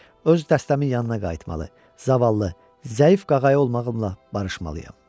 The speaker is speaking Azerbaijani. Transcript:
Öz dəstəmin yanına qayıtmalı, zavallı, zəif qağayı olmağımla barışmalıyam.